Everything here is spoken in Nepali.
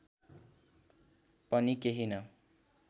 पनि केही न